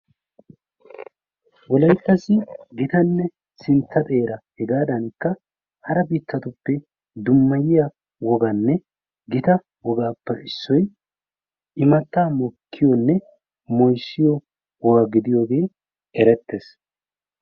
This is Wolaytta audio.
wolayttassi gitanne sintta xeera hegaadankka hara biittatuppe dummayiya woganne gita wogaappe issoy immata mokkiyoonne mooyisiyo woga gidiyoogee ereteees.